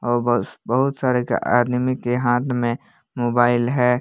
बस बहुत सारे का आदमी के हाथ में मोबाइल है।